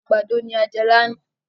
Àgbàdo ni a jẹ lánàá.